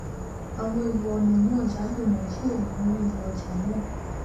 àwon èrò onà ní ojà gbè nàà jíròrò lóri iye ojà náà